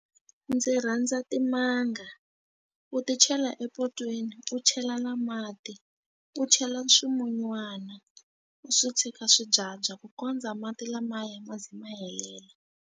Ndzi rhandza timanga. U ti chela epotweni, u chela na mati, u chela swimunywana. U swi tshika swi byabya ku kondza mati lamaya ma ze ma helela.